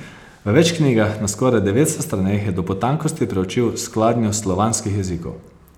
V več knjigah, na skoraj devetsto straneh, je do potankosti preučil skladnjo slovanskih jezikov.